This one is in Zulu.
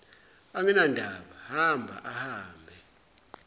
anginandaba hamba ahambe